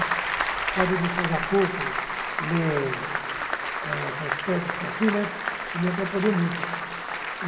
O fato de enxergar pouco, ler eh prospectos, assim né, isso me atrapalhou muito.